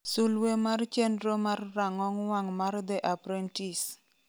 suluwe mar chenro mar rang'ong wang' mar "the apprentice".